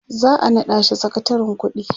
za'a naɗa shi sakatarin ƙuɗi